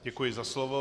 Děkuji za slovo.